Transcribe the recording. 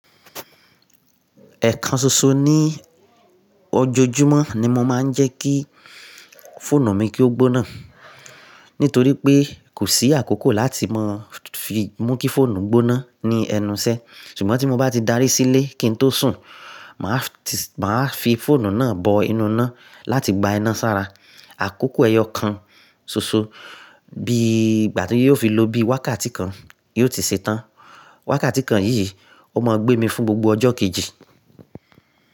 Ẹ̀kan ṣoṣo ní ọjọ́júmọ́ ni mo máa ń jẹ́ kí fóònù mi kí ó gbóná, nítorí pé kò sí àkókò láti máa fi mú kí fóònù gbóná ní ẹnu iṣẹ́. Ṣùgbọ́n tí mo bá ti darí sílé, kí n tó sùn, mà á fi fóònù náà bọ inú iná láti gba iná sára. Àkókò ẹyọ kan ṣoṣo, bí ìgbà tí ó fi lọ bí wákàtí kan, yóò ti ṣetán. Wákàtí kan yìí ó máa gbé mi fún gbogbo ọjọ́ kejì.